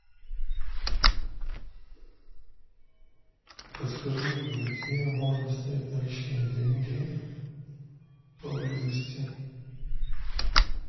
подскажи где можно снять наличные деньги поблизости